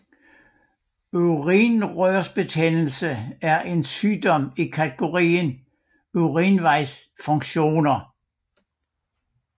Urinrørsbetændelse er en sygdom i kategorien urinvejsinfektioner